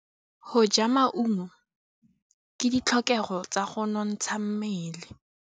Go ja maungo ke ditlhokegô tsa go nontsha mmele.